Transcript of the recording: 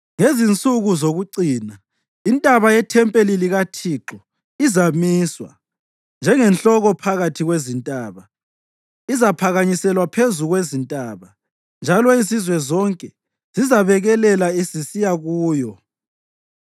Ngezinsuku zokucina intaba yethempeli likaThixo izamiswa njengenhloko phakathi kwezintaba; izaphakanyiselwa phezu kwezintaba njalo izizwe zonke zizabekelela zisiya kuyo.